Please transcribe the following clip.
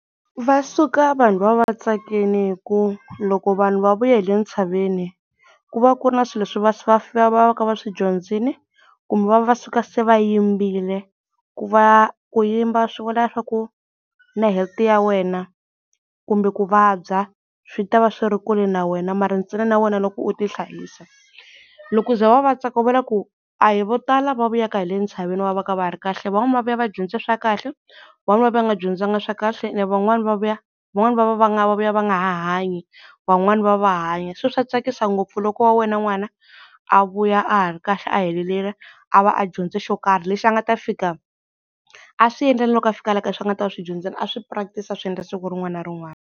Va suka vanhu va va va tsakini hi ku loko vanhu va vuye hi le ntshaveni ku va ku ri na swilo leswi va va ka va swi dyondzini kumbe va va va suka se va yimbile, ku va ku yimba swi vula swa ku na health ya wena kumbe ku vabya swi ta va swi ri kule na wena mara ntsena na wena loko u tihlayisa. Loko ku za va va va tsaka va vona ku a hi vo tala va vuyaka hi le ntshaveni va va ka va ha ri kahle, van'wana va vuya va dyondze swa kahle van'wana va vuya va nga dyondzanga swa kahle and van'wana va vuya van'wana va va va nga va vuya va nga ha hanyi van'wana va va va hanya, se swa tsakisa ngopfu loko wa wena n'wana a vuya a ha ri kahle a helelile a va a dyondze xo karhi lexi a nga ta fika a swi endla na loko a fika la kaya leswi a nga ta va a swi dyondzile a swi practice-a swi endla siku rin'wana na rin'wana.